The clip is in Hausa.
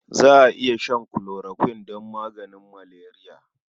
Za a iya shan chloroquine don maganin maleriya.